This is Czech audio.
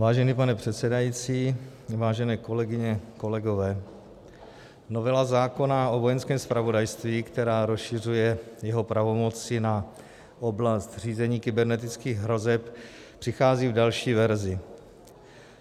Vážený pane předsedající, vážené kolegyně, kolegové, novela zákona o Vojenském zpravodajství, která rozšiřuje jeho pravomoci na oblast řízení kybernetických hrozeb, přichází v další verzi.